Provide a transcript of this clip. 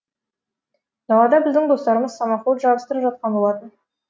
далада біздің достарымыз самоход жарыстырып жатқан болатын